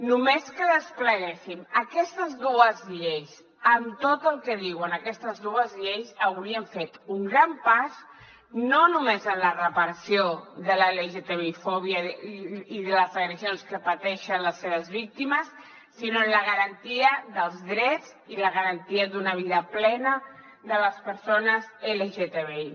només que despleguéssim aquestes dues lleis amb tot el que diuen aquestes dues lleis hauríem fet un gran pas no només en la reparació de la lgtbi fòbia i de les agressions que pateixen les seves víctimes sinó en la garantia dels drets i la garantia d’una vida plena de les persones lgtbi